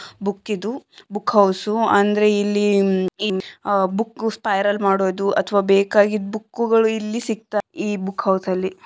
Book ಇದು book house ಅಂದ್ರೆ ಇಲ್ಲಿ ಬುಕ್ ಸ್ಪೈರಲ್ ಮಾಡೋದು ಅಥವಾ ಬೇಕಾಗಿದ್ದ ಬುಕ್ಗಳು ಇಲ್ಲಿ ಸಿಗ್ತಾವೆ ಈ ಬುಕ್ ಹೌಸ್ ಅಲ್ಲಿ .